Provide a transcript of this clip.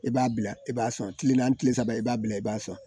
I b'a bila i b'a sɔn tile naani tile saba i b'a bila i b'a sɔn